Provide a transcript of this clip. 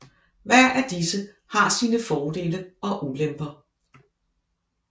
Hver af disse har sine fordele og ulemper